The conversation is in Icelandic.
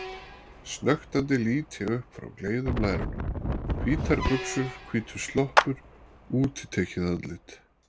Snöktandi lít ég upp frá gleiðum lærunum: Hvítar buxur, hvítur sloppur, útitekið andlit.